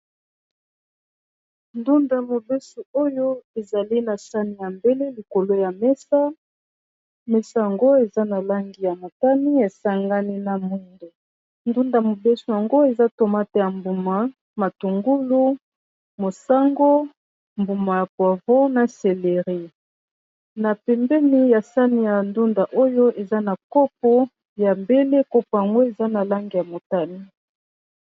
Ndunda ya mobeso oyo ezali na sani ya mbele likolo ya mesa. Mesa yango eza na langi ya motani esangani na moindo. Ndunda mobeso yango eza tomate ya mbuma matungulu mosango mbuma ya pwavro na celeri. Na pembeni ya sani ya ndunda oyo eza na kopo ya bele. Kopo yango eza na langi ya motani.